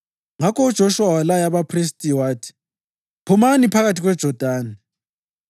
Ngakho uJoshuwa walaya abaphristi wathi, “Phumani phakathi kweJodani.”